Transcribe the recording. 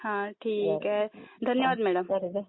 ठीक आहे धन्यवाद मॅडम